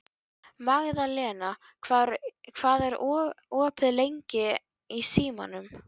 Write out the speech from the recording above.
Magðalena, hvað er opið lengi í Símanum?